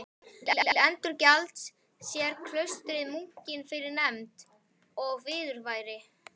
Til endurgjalds sér klaustrið munkinum fyrir vernd og viðurværi.